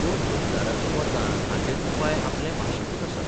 पूण गुलजाराच्या मतान हाचेर उपाय आपले भाशेंतूच आसा.